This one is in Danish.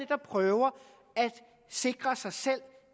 der prøver at sikre sig selv